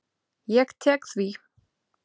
Ég tek því.